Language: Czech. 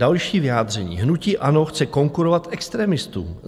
Další vyjádření: "Hnutí ANO chce konkurovat extremistům.